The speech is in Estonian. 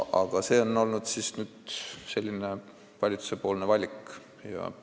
Aga see on olnud valitsuse valik.